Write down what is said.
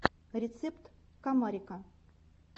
рецепт комарика